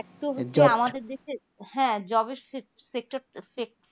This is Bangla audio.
এতো হচ্ছে আমাদের দেশের হ্যা job এর sector টা